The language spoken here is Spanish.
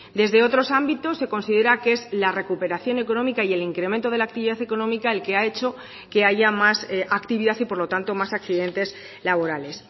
desde otros ámbitos se considera que es la recuperación económica y el incremento de la actividad económica el que ha hecho que haya más actividad y por lo tanto más accidentes laborales